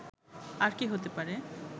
আর কি হতে পারে